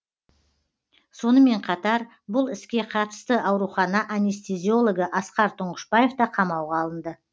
сонымен қатар бұл іске қатысты аурухана анестезиологы асқар тұңғышбаев та қамауға алынды